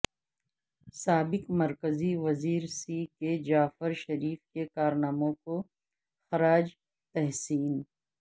سابق مرکزی وزیر سی کے جعفرشریف کے کارناموں کو خراج تحسین